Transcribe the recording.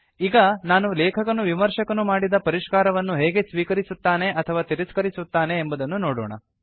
ಈಗ ನಾವು ಲೇಖಕನು ವಿಮರ್ಶಕನು ಮಾಡಿದ ಪರಿಷ್ಕಾರವನ್ನು ಹೇಗೆ ಸ್ವೀಕರಿಸುತ್ತನೆ ಅಥವಾ ತಿರಸ್ಕರಿಸುತ್ತಾನೆ ಎಂಬುದನ್ನು ನೋಡೋಣ